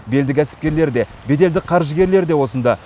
белді кәсіпкерлер де беделді қаржыгерлер де осында